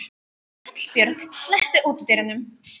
Hallbjörg, læstu útidyrunum.